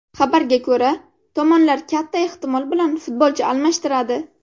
Xabarga ko‘ra, tomonlar katta ehtimol bilan futbolchi almashtiradi.